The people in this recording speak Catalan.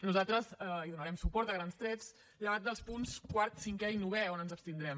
nosaltres hi donarem suport a grans trets llevat dels punts quart cinquè i novè on ens abstindrem